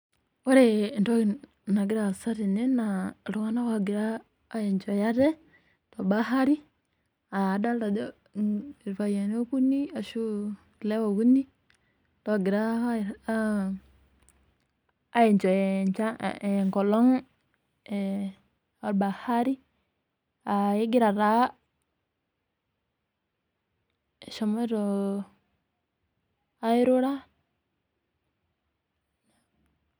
Ore entoki nagira aasa tene naa illtung'ana oogira aenjoy aate tobahari. Adolita ajo ilpayiani okuni, ashu ilewa okuni loogira aenjoy engolong' e bahari, aa kegira taa, eshomoito airura.